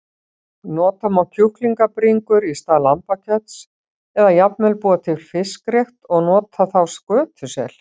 Nota má kjúklingabringur í stað lambakjöts eða jafnvel búa til fiskrétt og nota þá skötusel.